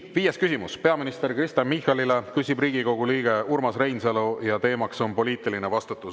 Viies küsimus on peaminister Kristen Michalile, küsib Riigikogu liige Urmas Reinsalu ja teema on poliitiline vastutus.